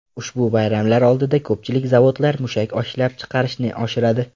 Ushbu bayramlar oldidan ko‘pchilik zavodlar mushak ishlab chiqarishni oshiradi.